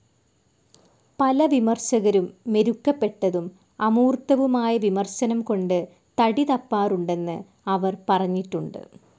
പല വിമർശകരും മെരുക്കപ്പെട്ടതും അമൂർത്തവുമായ വിമർശനം കൊണ്ട് തടിതപ്പാറുണ്ടെന്ന് അവർ പറഞ്ഞിട്ടുണ്ട്.